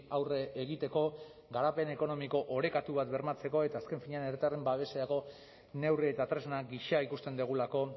aurre egiteko garapen ekonomiko orekatu bat bermatzeko eta azken finean herritarren babeserako neurri eta tresna gisa ikusten dugulako